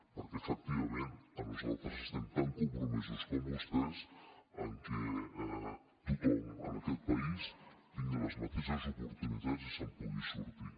perquè efectivament nosaltres estem tan compromesos com vostès en que tothom en aquest país tingui les mateixes oportunitats i se’n pugui sortir